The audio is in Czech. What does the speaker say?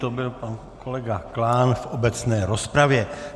To byl pan kolega Klán v obecné rozpravě.